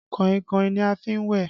Kàìnkàìn ni a fi n wẹ́